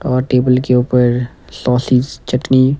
और टेबल के ऊपर सॉसीज चटनी--